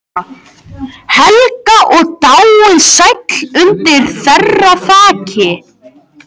Helga og dáið sæll undir þeirra þaki.